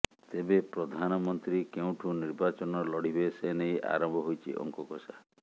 ତେବେ ପ୍ରଧାନମନ୍ତ୍ରୀ କେଉଁଠୁ ନିର୍ବାଚନ ଲଢିବେ ସେ ନେଇ ଆରମ୍ଭ ହୋଇଛି ଅଙ୍କକଷା